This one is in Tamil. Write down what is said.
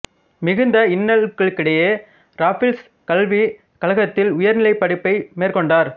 மிகுந்த இன்னல்களுக்கிடையே ராஃபிள்ஸ் கல்விக் கழகத்தில் உயர்நிலை படிப்பை மேற்கொண்டார்